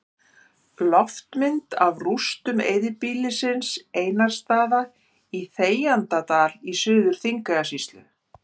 Loftmynd af rústum eyðibýlisins Einarsstaða í Þegjandadal í Suður-Þingeyjarsýslu.